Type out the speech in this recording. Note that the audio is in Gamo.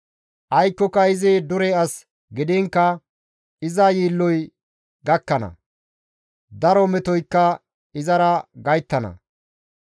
Aykokka izi dure as gidiinkka; iza yiilloy gakkana; daro metoykka izara gayttana.